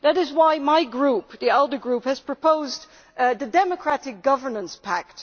That is why my group, the ALDE Group, has proposed the Democratic Governance Pact.